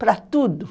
Para tudo.